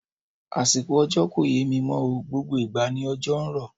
Àsìkò òjò kò yé mí mọ́ o, gbogbo ìgbà ni òjò ń rọ̀.